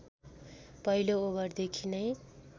पहिलो ओभर देखि नै